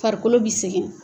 Farikolo bɛ segɛn.